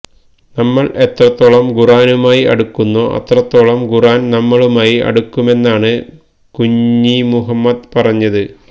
നമ്മൾ എത്രത്തോളം ഖുർആനുമായി അടുക്കുന്നോ അത്രത്തോളം ഖുർആൻ നമ്മളുമായി അടുക്കുമെന്നാണ് കുഞ്ഞിമുഹമ്മദ് പറഞ്ഞത്